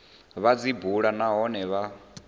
vha dzi bule nahone vha